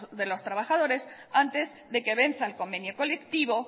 de los trabajadores antes de que venza el convenio colectivo